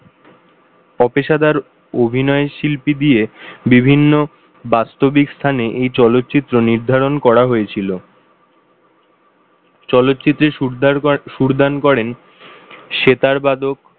অপেশাদার অভিনয়শিল্পী দিয়ে বিভিন্ন বাস্তবিক স্থানে চলচ্চিত্র নির্ধারণ করা হয়েছিল চলচ্চিত্রের সুর দান করেন সেতার বাদক,